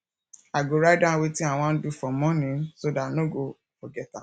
i go write down wetin i wan do for morning so dat i no go forget am